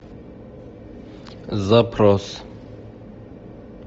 запрос